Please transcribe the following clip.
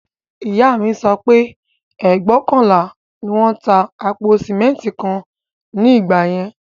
Ìyá mi sọ pé ẹgbóokànlá ni wón ń ta àpò sìmẹ́ntì kan ní ìgbà yẹn